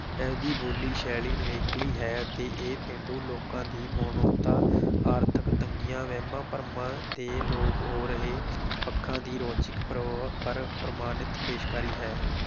ਇਸ ਦੀ ਬੋਲੀ, ਸ਼ੈਲੀ ਨਿਵੇਕਲੀ ਹੈ ਅਤੇ ਇਹ ਪੇਂਡੂ ਲੋਕਾਂ ਦੀ ਮਨੌਤਾਂ ਆਰਥਕ ਤੰਗੀਆਂ, ਵਹਿਮਾਂ-ਭਰਮਾਂ ਦੇ ਲੋਪ ਹੋ ਰਹੇ ਪੱਖਾਂ ਦੀ ਰੌਚਿਕ ਪਰ ਪਰ ਪ੍ਰਮਾਣਿਤ ਪੇਸ਼ਕਾਰੀ ਹੈ।